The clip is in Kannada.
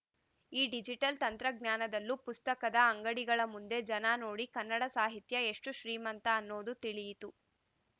ಈ ಡಿಜಿಟಲ್‌ ತಂತ್ರಜ್ಞಾನದಲ್ಲೂ ಪುಸ್ತಕದ ಅಂಗಡಿಗಳ ಮುಂದೆ ಜನ ನೋಡಿ ಕನ್ನಡ ಸಾಹಿತ್ಯ ಎಷ್ಟುಶ್ರೀಮಂತ ಅನ್ನೋದು ತಿಳಿಯಿತು